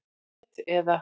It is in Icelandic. net eða.